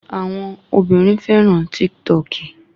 Àwọn obìnrin fẹ́ràn Tíktọọkì